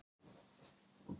Hefja framleiðslu í vor